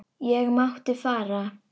Ég mátti fara.